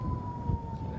Neylə!